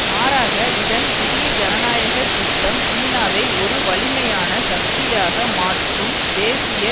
மாறாக இதன் புதிய ஜனநாயக திட்டம் சீனாவை ஒரு வலிமையான சக்தியாக மாற்றும் தேசிய